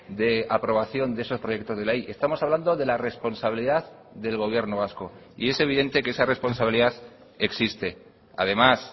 de aprobación de esos proyectos de ley estamos hablando de la responsabilidad del gobierno vasco y es evidente que esa responsabilidad existe además